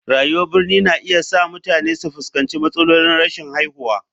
Rayuwar birni na iya sa mutane su fuskanci matsalolin rashin haihuwa.